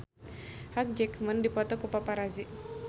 Hugh Jackman dipoto ku paparazi